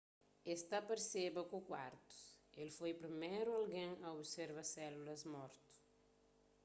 es ta parseba ku kuartus el foi priméru algen a observa sélulas mortu